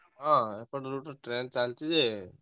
ହଁ ଏପଟ route ରେ ଟ୍ରେନ ଚାଲିଛି ଯେ,